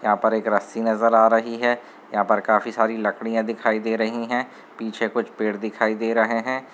यहा पर एक रस्सी नज़र आ रही है यहा पर काफी सारी लकड़ियाँ दिखाई दे रहीं है पीछे कुछ पेड़ दिखाई दे रहै हैं।